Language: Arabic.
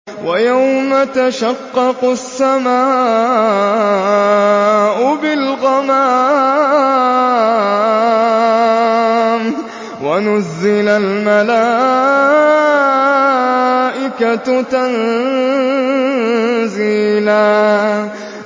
وَيَوْمَ تَشَقَّقُ السَّمَاءُ بِالْغَمَامِ وَنُزِّلَ الْمَلَائِكَةُ تَنزِيلًا